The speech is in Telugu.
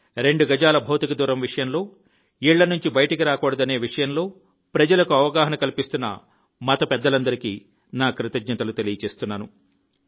రెండు గజాల భౌతిక దూరం విషయంలో ఇళ్ల నుండి బయటకి రాగూడదనే విషయంలో ప్రజలకు అవగాహన కల్పిస్తున్న మత పెద్దలందరికీ నా కృతజ్ఞతలు తెలియజేస్తున్నాను